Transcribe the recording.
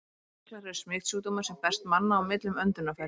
Berklar eru smitsjúkdómur, sem berst manna á milli um öndunarfæri.